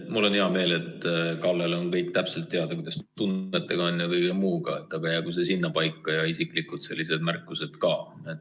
Mul on hea meel, et Kallel on täpselt teada, kuidas tunnetega on ja kõige muuga, aga jäägu see sinnapaika ja isiklikud märkused ka.